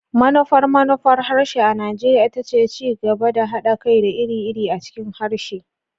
Manufar manufar harshe a Najeriya ita ce ci gaba da haɗa kai da iri-iri a cikin harshe.